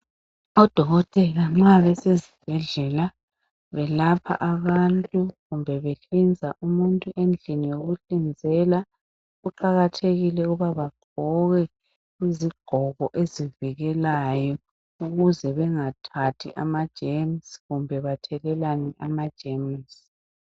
Odokotela nxa besezibhdlela beselapha abantu kumbe behlinza umuntu endlini yokuhlinzela kuqakathekile ukuthi bagqoke izigqoko ezivikelayo ukuze bangathathi ama jemusi kumbe bathelelane amajemusi.